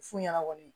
F'u ɲɛna kɔni